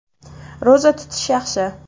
Ro‘za tutish yaxshi.